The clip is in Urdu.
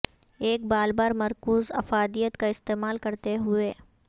ایک بال بال مرکوز افادیت کا استعمال کرتے ہوئے